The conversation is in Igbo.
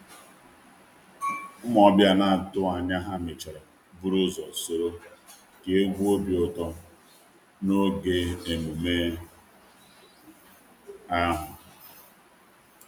Ụmụ ọbịa na-atụghị anya ha mechara buru ụzọ soro kee egwu obi ụtọ n’oge emume ahụ.